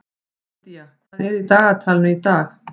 Indía, hvað er í dagatalinu í dag?